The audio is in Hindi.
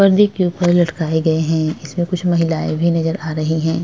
परदे के ऊपर लटकाए गए है इसमें कुछ महिलाए भी नज़र आ रही है।